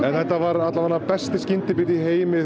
þetta var besti skyndibiti í heimi